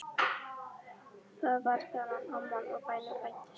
Það var þegar amman á bænum fæddist.